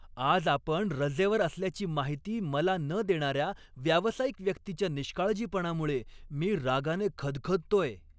आज आपण रजेवर असल्याची माहिती मला न देणाऱ्या व्यावसायिक व्यक्तीच्या निष्काळजीपणामुळे मी रागाने खदखदतोय.